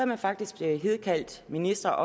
man faktisk kaldt ministre